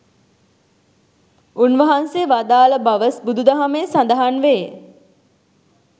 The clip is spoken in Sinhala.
උන්වහන්සේ වදාළ බව බුදු දහමේ සඳහන්වේ.